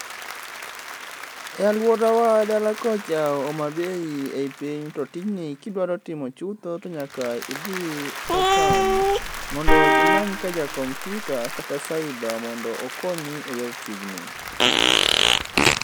E aluora wa dala kocha Homabay ei piny to tijni kidwaro timo chutho to nyaka idhi e town mondo imany ka ja computer kata cyber mondo okonyi e yor tijni